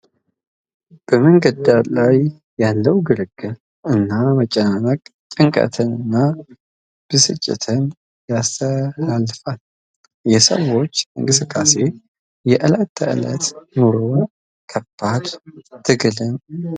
በመንገዱ ዳር ያለው ግርግር እና መጨናነቅ ጭንቀትን እና ብስጭትን ያስተላልፋል ። የሰዎቹ እንቅስቃሴ የዕለት ተዕለት ኑሮን ከባድ ትግልን ያሳያል ።